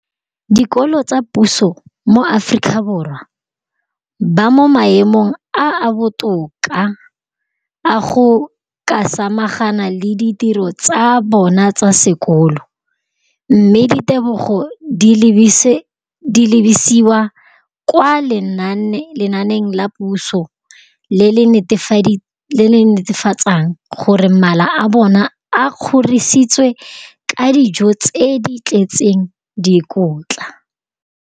Dikolo tsa puso mo Aforika Borwa ba mo maemong a a botoka a go ka samagana le ditiro tsa bona tsa sekolo, mme ditebogo di lebisiwa kwa lenaaneng la puso le le netefatsang gore mala a bona a kgorisitswe ka dijo tse di tletseng dikotla.